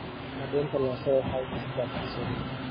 Cadaynta lahaanshaha waxay dhistaa kalsooni.